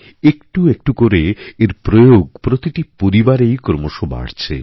একটু একটু করেএর প্রয়োগ প্রতিটি পরিবারেই ক্রমশ বাড়ছে